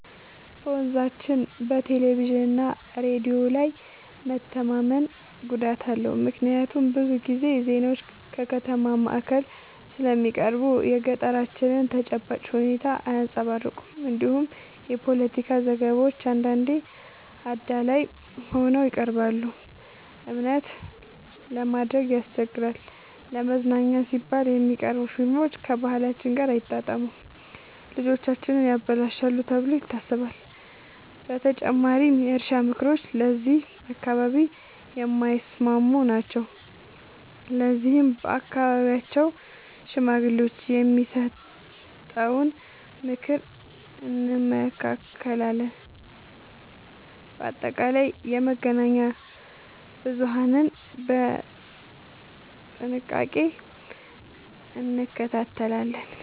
በመንዛችን በቴሌቪዥንና ሬዲዮ ላይ መተማመን ጉዳት አለው፤ ምክንያቱም ብዙ ጊዜ ዜናዎች ከከተማ ማዕከል ስለሚቀርቡ የገጠራችንን ተጨባጭ ሁኔታ አያንጸባርቁም። እንዲሁም የፖለቲካ ዘገባዎች አንዳንዴ አዳላይ ሆነው ይቀርባሉ፤ እምነት ለማድረግ ያስቸግራል። ለመዝናኛ ሲባል የሚቀርቡ ፊልሞች ከባህላችን ጋር አይጣጣሙም፣ ልጆቻችንን ያበላሻሉ ተብሎ ይታሰባል። በተጨማሪም የእርሻ ምክሮች ለዚህ አካባቢ የማይስማሙ ናቸው፤ ለዚህም በአካባቢው ሽማግሌዎች የሚሰጠውን ምክር እንመካለን። በአጠቃላይ የመገናኛ ብዙሀንን በጥንቃቄ እንከታተላለን።